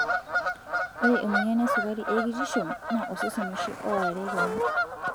Ore emoyian esukari ekitisho naa osesen oshi oorare kewon.